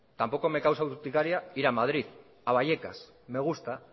tampoco me causa urticaria ir a madrid a vallecas me gusta